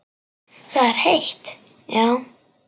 Það er heitt, já.